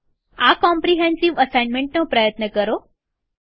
આ કોમ્રીહેન્સીવ અસાઇનમેન્ટનો પ્રયત્ન કરો